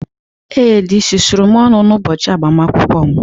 Ee, dị sụsụrụ m ọnụ n'ụbọchị agbamakwụkwọ m?